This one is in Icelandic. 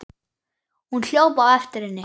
Hún hljóp á eftir henni.